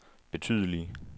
betydelige